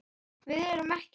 Við erum ekki.